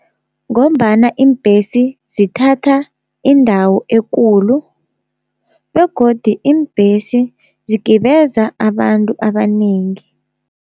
Ngombana iimbhesi zithatha indawo ekulu begodi, iimbhesi zigibeza abantu abanengi.